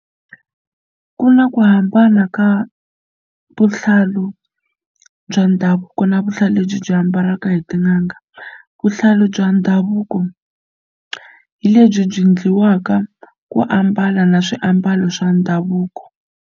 Ku na ku hambana ka vuhlalu bya ndhavuko na vuhlalu lebyi byi ambaliwaka hi tin'anga. Vuhlalu bya ndhavuko hi lebyi byi endliwaka ku ambala na swiambalo swa ndhavuko.